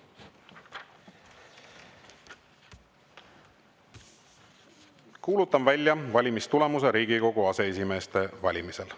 Kuulutan välja valimistulemuse Riigikogu aseesimeeste valimisel.